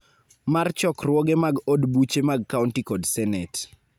mar chokruoge mag od buche mag kaonti kod Senet.